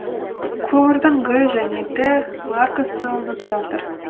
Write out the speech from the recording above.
көмірдің г және д маркасы алынып жатыр